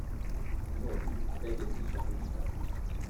джой у тебя есть сейчас мечта